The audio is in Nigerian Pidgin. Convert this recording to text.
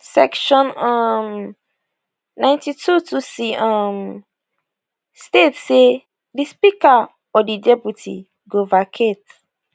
section um 92 2c um state say di speaker or di deputy go vacate